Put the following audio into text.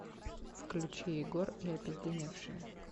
включи егор и опизденевшие